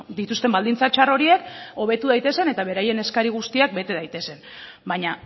dituzten baldintza txar horiek hobetu daitezen eta beraien eskari guztiak bete daitezen baina